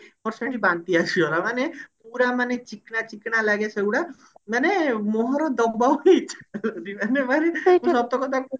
ମୋର ସେଇଠି ବାନ୍ତି ଆସିଗଲା ମାନେ ପୁରା ମାନେ ଚିକନା ଚିକନା ଲାଗେ ସେଗୁଡା ମାନେ ମୁହଁରେ ଦବାକୁ ଇଚ୍ଛା ହୁଏନି ମାନେ ମାନେ ସତ କଥା କହୁଛି